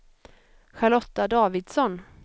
Charlotta Davidsson